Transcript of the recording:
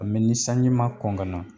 Mɛ ni sanji ma kɔn ka na